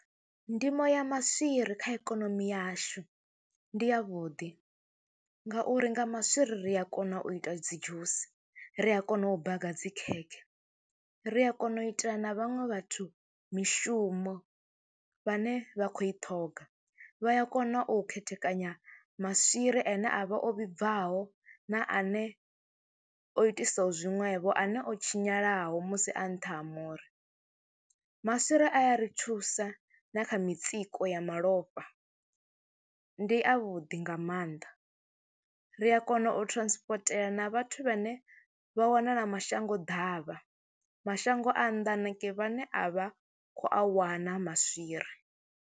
Ndimo ya maswiri kha ikonomi yashu ndi yavhuḓi ngauri nga maswiri ri a kona u ita dzi dzhusi, ri a kona u baga dzi khekhe, ri a kona u itela na vhaṅwe vhathu mishumo vhane vha khou i ṱhoga. Vha ya kona u khethekanya maswiri ane a vha o vhibvaho na ane o itisaho zwiṅwevho, ane o tshinyalaho musi a nṱha ha muri. Maswiri a ya ri thusa na kha mitsiko ya malofha, ndi avhuḓi nga maanḓa ri a kona u thirasipotela na vhathu vhane vha wanala mashango ḓavha, mashango a nnḓa hanengei vhane a vha khou a wana maswiri.